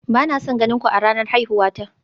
Ba na son ganin ku a ranar haihuwa ta